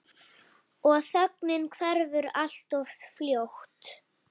Og þögnin hverfur alltof fljótt.